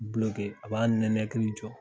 a b'a nɛnɛkiri jɔ.